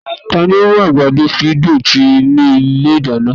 Tani o mu agbado didùn ti inu ile idana?